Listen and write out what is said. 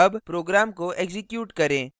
अब program को execute करें